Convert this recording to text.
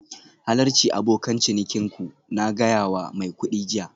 Halarci abokan cinikin ku, na gaya wa mai kuɗi jiya